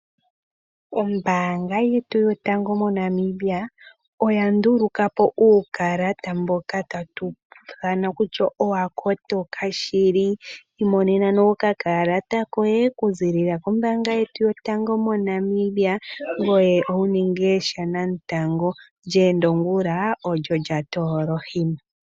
Ombaanga yetu yotango moNamibia oya nduluka po uukalata mboka tatu ithana kutya owa kotoka shili. Imonena nee okakalata koye kuziilila kombaanga yetu yotango moNamibia ngoye wu ninge shanamutango, lyeenda ongula olyo lya toola ohima.